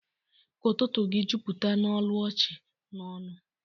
Ka ụtụtụ gị jupụta n'olu ọchị na ọṅụ